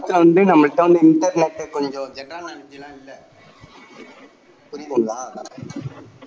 நம்மள்ட வந்து information கொஞ்சம் general knowledge எல்லாம் இல்ல